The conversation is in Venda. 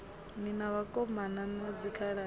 ni na vhakomana na dzikhaladzi